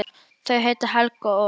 Þau heita Helga og